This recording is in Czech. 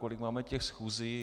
Kolik máme těch schůzí?